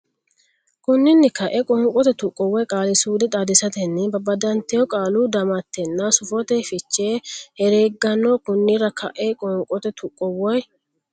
Konninni ka e qoonqote tuqqo woy qaali suude xaadisatenninna babbadatenni qaalu damattetanna sufote fiche herregganno Konninni ka e qoonqote tuqqo woy.